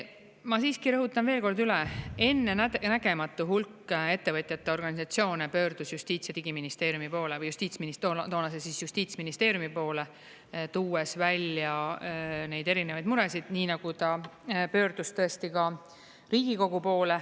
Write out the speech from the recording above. Ma siiski rõhutan veel kord üle, et ennenägematu hulk ettevõtjate organisatsioone pöördus Justiits- ja Digiministeeriumi poole või toonase justiitsministeeriumi poole, tuues välja neid erinevaid muresid, nii nagu ta pöördus tõesti ka Riigikogu poole.